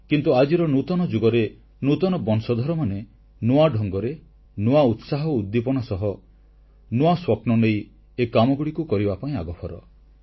କିନ୍ତୁ ଆଜିର ନୂତନ ଯୁଗରେ ନୂତନ ବଂଶଧରମାନେ ନୂଆ ଢଙ୍ଗରେ ନୂଆ ଉତ୍ସାହ ଓ ଉଦ୍ଦୀପନା ସହ ନୂଆ ସ୍ୱପ୍ନନେଇ ଏ କାମଗୁଡ଼ିକୁ କରିବା ପାଇଁ ଆଗଭର